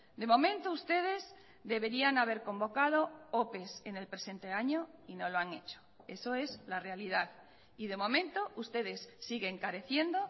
de momento ustedes deberían haber convocado ope en el presente año y no lo han hecho eso es la realidad y de momento ustedes siguen careciendo